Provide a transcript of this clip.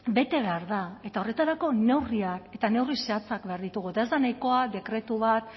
bete behar da eta horretarako neurriak eta neurri zehatzak behar ditugu eta ez da nahikoa dekretu bat